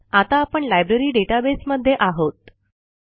आता आपण लायब्ररी databaseमध्ये आहोत